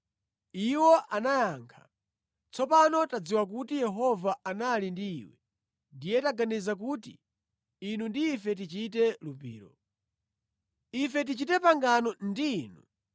Iwo anayankha, “Tsopano tadziwa kuti Yehova anali ndi iwe; ndiye taganiza kuti inu ndi ife tichite lumbiro. Ife tichite pangano ndi inu